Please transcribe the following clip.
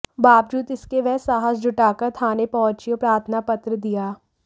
बावजूद इसके वह साहस जुटाकर थाने पहुंची और प्रार्थना पत्र दिया